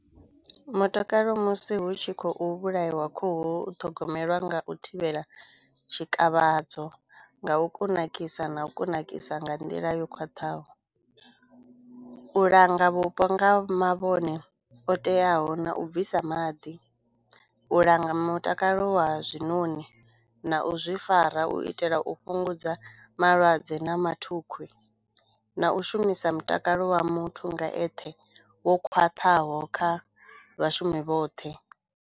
Mutakalo musi hu tshi khou vhulaiwa khuhu u thogomelwa nga u thivhela tshikavhadzo, nga u kunakisa na u kunakisa nga nḓila yo khwaṱhaho. U langa vhupo nga mavhone o teaho na u bvisa maḓi, u langa mutakalo wa zwinoni na u zwi fara u itela u fhungudza malwadze na mathukhwi na u shumisa mutakalo wa muthu nga eṱhe wo khwaṱhaho kha vhashumi vhoṱhe.